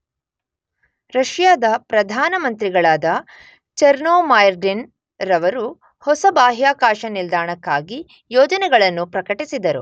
ರಷ್ಯಾದ ಪ್ರಧಾನ ಮಂತ್ರಿಗಳಾದ ಚೆರ್ನೊಮೈರ್ಡಿನ್ ರವರು ಹೊಸ ಬಾಹ್ಯಾಕಾಶ ನಿಲ್ದಾಣಕ್ಕಾಗಿ ಯೋಜನೆಗಳನ್ನು ಪ್ರಕಟಿಸಿದರು.